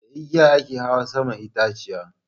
Da igiya a ke hawa saman itaciya.